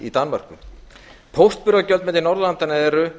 í danmörku póstburðargjöld milli norðurlandanna eru